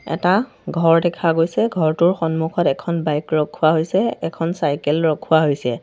এটা ঘৰ দেখা গৈছে ঘৰটোৰ সন্মুখত এখন বাইক ৰখোৱা হৈছে এখন চাইকেল ৰখোৱা হৈছে।